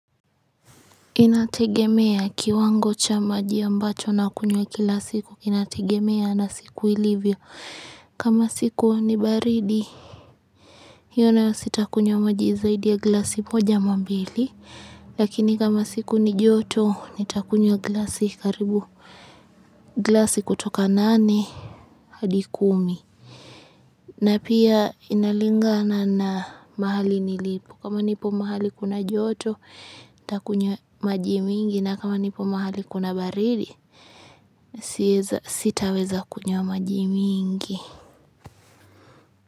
Inategemea kiwango cha maji ambacho nakunywa kila siku. Inategemea na siku ilivyo. Kama siku ni baridi, hiyo nayo sitakunywa maji zaidi ya glasi moja ama mbili. Lakini kama siku ni joto, nitakunywa glasi karibu. Glasi kutoka nane, hadi kumi. Na pia inalingana na mahali nilipo. Kama nipo mahali kuna joto, takunywa maji mingi. Na kama nipo mahali kuna baridi, siez sitaweza kunywa majimingi.